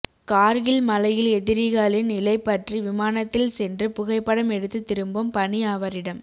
கார்கில் மலையில் எதிரிகளின் நிலை பற்றி விமானத்தில் சென்று புகைப்படம் எடுத்து திரும்பும் பணி அவரிடம்